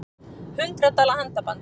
Hundrað dala handaband